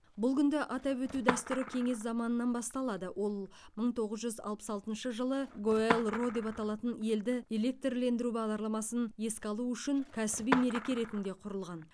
бұл күнді атап өту дәстүрі кеңес заманынан басталады ол мың тоғыз жүз алпыс алтыншы жылы гоэлро деп аталатын елді электрлендіру бағдарламасын еске алу үшін кәсіби мереке ретінде құрылған